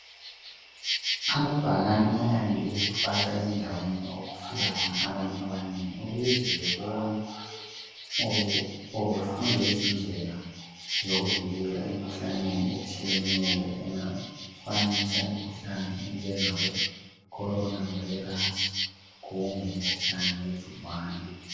Amabhakane ayande ukufakwa endaweni okufika khona abantu abanengi ukuze bebone kumbe befunde izindlela zokuvikela emikhuhlaneni etshiyeneyo engafanisa imikhuhlane enjengabo Corona virus kumbe umkhuhlane wegcikwane.